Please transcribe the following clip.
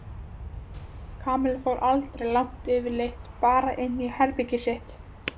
Kamilla fór aldrei langt yfirleitt bara inn í herbergið sitt.